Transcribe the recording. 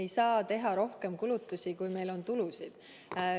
Me ei saa teha rohkem kulutusi, kui meil on tulusid.